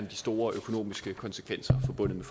de store økonomiske konsekvenser forbundet